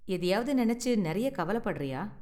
எதையாவது நினைச்சு நிறைய கவலைப்படறியா?